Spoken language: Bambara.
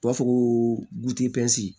U b'a fɔ ko